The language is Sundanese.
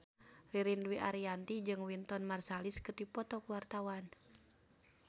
Ririn Dwi Ariyanti jeung Wynton Marsalis keur dipoto ku wartawan